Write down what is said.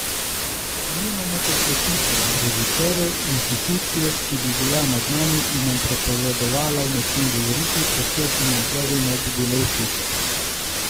Nimamo tekstopiscev, režiserjev, inštitucije, ki bi bila nad nami in nam prepovedala o nečem govoriti, ker to financerju ne bi bilo všeč.